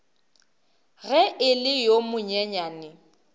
ge e le yo monyenyane